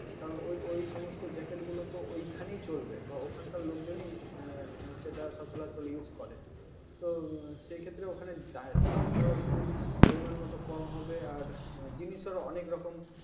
কারণ ওই সমস্ত jacket গুলো তো ঐখানেই চলবে বা ওখানকার লোকজন সচরাচর use করে তো সেক্ষেত্রে ওখানে দামটাও একটু পরিমাণমতো কম হবে আর জিনিসটা অনেক রকম